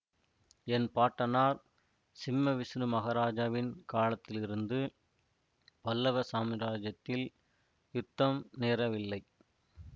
என் பாட்டனார் சிம்ம விஷ்ணு மகாராஜாவின் காலத்திலிருந்து பல்லவ சாம்ராஜ்யத்தில் யுத்தம் நேரவில்லை